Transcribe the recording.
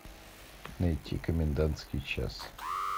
найти комендантский час